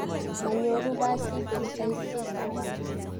manyoru basit eng saisie somok.